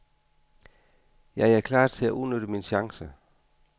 Jeg er klar til at udnytte min chance.